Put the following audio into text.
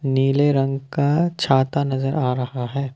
नीले रंग का छाता नजर आ रहा है।